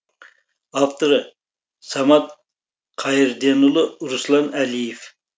авторы самат қайырденұлы руслан әлиев